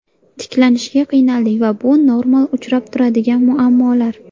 Tiklanishga qiynaldik va bu normal uchrab turadigan muammolar.